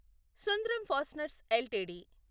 Sundram fasteners LTD